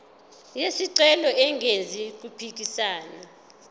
wesicelo engenzi okuphikisana